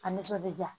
Ka nisɔndiya